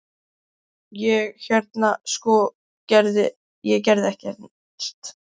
Ég- hérna sko- ég gerði ekkert.